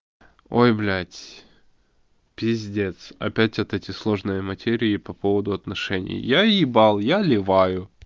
ой блять пиздец опять вот эти сложные материи по поводу отношений я ебал я ливаю